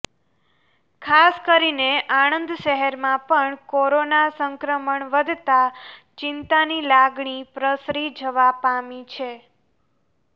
ખાસ કરીને આણંદ શહેરમાં પણ કોરોના સંક્રમણ વધતાં ચિંતાની લાગણી પ્રસરી જવા પામી છે